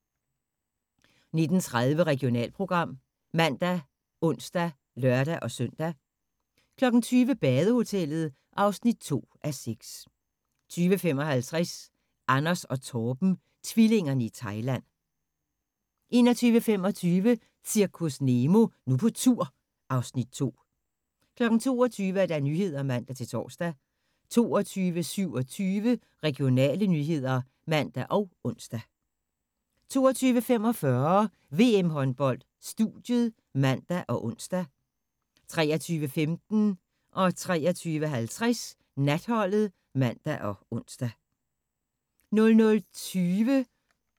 19:30: Regionalprogram ( man, ons, lør-søn) 20:00: Badehotellet (2:6) 20:55: Anders & Torben – tvillingerne i Thailand 21:25: Zirkus Nemo – Nu på tur (Afs. 2) 22:00: Nyhederne (man-tor) 22:27: Regionale nyheder (man og ons) 22:45: VM-håndbold: Studiet (man og ons) 23:15: Natholdet (man og ons) 23:50: Natholdet (man og ons) 00:20: Airline (man og ons)